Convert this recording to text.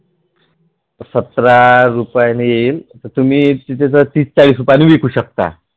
सतरा रुपयाला येईल तर तुम्ही तिथे तीस चाळीस रुपयाला विकु शकता